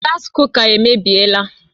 Gaasi kuka emebiela